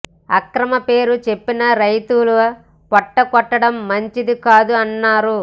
అక్రమాల పేరు చెప్పి రైతుల పొట్ట కొట్టడం మంచిది కాదు అన్నారు